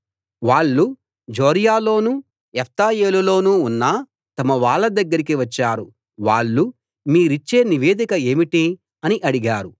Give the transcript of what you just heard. వాళ్ళు జొర్యాలోనూ ఎష్తాయోలులోనూ ఉన్న తమ వాళ్ళ దగ్గరికి వచ్చారు వాళ్ళు మీరిచ్చే నివేదిక ఏమిటి అని అడిగారు